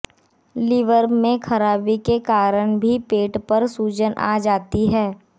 liver में खराबी के कारण भी पेट पर सूजन आ जाती है